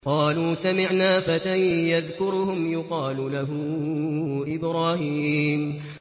قَالُوا سَمِعْنَا فَتًى يَذْكُرُهُمْ يُقَالُ لَهُ إِبْرَاهِيمُ